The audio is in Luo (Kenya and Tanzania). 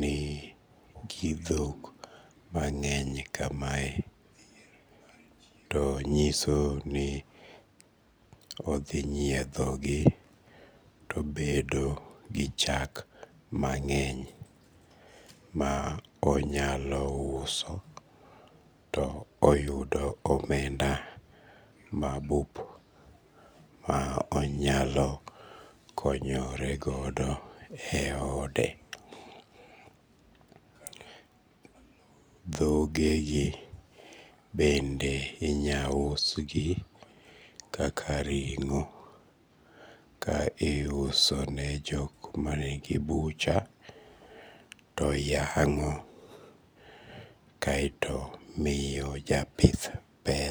nigidhok mang'eny kamae to nyiso ni odhi nyiedhogi to obed go gi chak mang'eny ma onyalo uso to oyudo omenda mabup ma onyalo konyorego eode. Dhogegi bende inyalo usgi kaka ring'o ka iuso ne jok manigi butcher to yang'o kaeto miyo japith pe